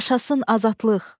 Yaşasın azadlıq!